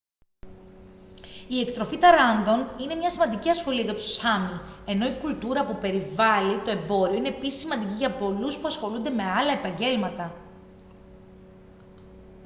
η εκτροφή ταράνδων είναι μια σημαντική ασχολία για τους σάμι ενώ η κουλτούρα που περιβάλλει το εμπόριο είναι επίσης σημαντική για πολλούς που ασχολούνται με άλλα επαγγέλματα